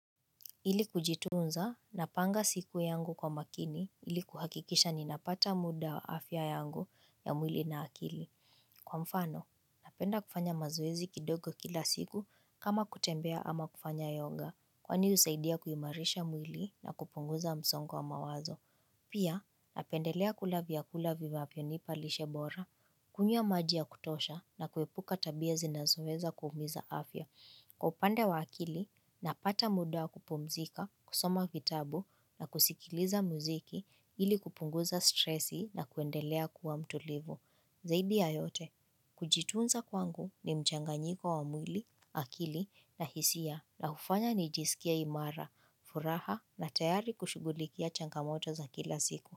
Ili kujitunza, napanga siku yangu kwa makini, ili kuhakikisha ninapata muda wa afya yangu ya mwili na akili. Kwa mfano, napenda kufanya mazoezi kidogo kila siku kama kutembea ama kufanya yonga, kwani usaidia kuimarisha mwili na kupunguza msongo wa mawazo. Pia, napendelea kula vyakula vivavyonipa lishe bora, kunywa maji ya kutosha na kuepuka tabia zinazoweza kuumiza afya. Kwa upande wa akili, napata muda wa kupumzika, kusoma vitabu na kusikiliza muziki ili kupunguza stresi na kuendelea kuwa mtulivu. Zaidi ya yote, kujitunza kwangu ni mchanganyiko wa mwili, akili na hisia na hufanya nijisikie imara, furaha na tayari kushugulikia changamoto za kila siku.